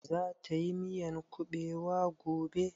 Za ta yi miyan kuɓewa gobe?